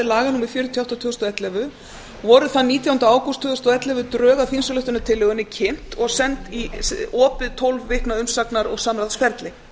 númer fjörutíu og átta tvö þúsund og ellefu voru þann nítjánda ágúst drög að þingsályktunartillögunni kynnt og send í opið tólf vikna umsagnar og samráðsferli